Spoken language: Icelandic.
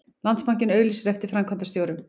Landsbankinn auglýsir eftir framkvæmdastjórum